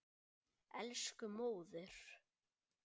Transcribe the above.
Elsku móðir.